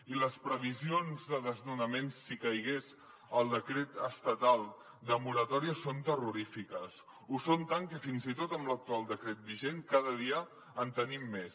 i les previsions de desnonaments si caigués el decret estatal de moratòria són terrorífiques ho són tant que fins i tot amb l’actual decret vigent cada dia en tenim més